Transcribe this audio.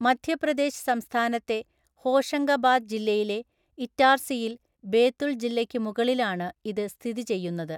മധ്യപ്രദേശ് സംസ്ഥാനത്തെ ഹോഷംഗബാദ് ജില്ലയിലെ ഇറ്റാർസിയിൽ ബേതുൽ ജില്ലയ്ക്ക് മുകളിലാണ് ഇത് സ്ഥിതി ചെയ്യുന്നത്.